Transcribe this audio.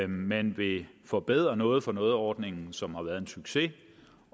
man vil forbedre noget for noget ordningen som har været en succes